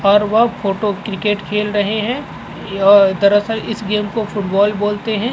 और वो photo cricket खेल रहे है। दरअसल इस गेम को फूटबॉल बोलते है।